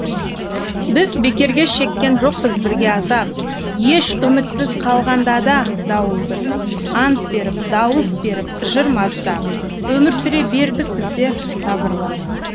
біз бекерге шеккен жоқпыз бірге азап еш үмітсіз қалғанда да дауылды ант беріп дауыс беріп жыр маздап өмір сүре бердік біздер сабырлы